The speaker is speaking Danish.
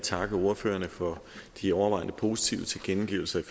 takke ordførerne for de overvejende positive tilkendegivelser i